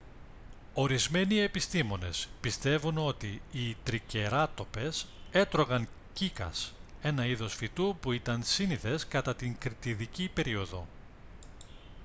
ορισμένοι επιστήμονες πιστεύουν ότι οι τρικεράτοπες έτρωγαν κύκας ένα είδος φυτού που ήταν σύνηθες κατά την κρητιδική περίοδο